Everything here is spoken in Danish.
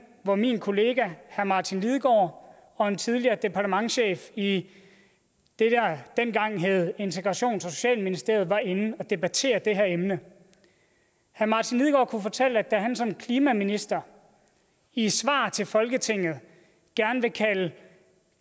hvor min kollega herre martin lidegaard og en tidligere departementschef i i det der dengang hed integrations og socialministeriet var inde og debattere det her emne herre martin lidegaard kunne fortælle at da han som klimaminister i et svar til folketinget gerne ville kalde